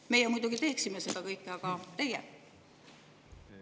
Meie muidugi teeksime seda kõike, aga teie?